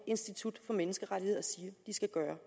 institut for menneskerettigheder siger de skal gøre